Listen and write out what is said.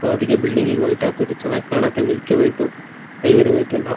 ಆ ಆದಿಕ್ಕೆ ಬಿಲ್ಡಿಂಗಿಗ್ ವೈಟ್ ಹಾಕದ್ರು ಚೆನ್ನಾಗ್ ಕಾಣುತ್ತೆ ಮಿಲ್ಕಿ ವೈಟು ಐವರಿ ವೈಟೆಲ್ಲ .